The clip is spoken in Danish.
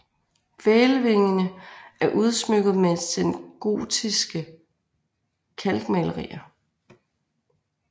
Hvælvingerne er udsmykket med sengotiske kalkmalerier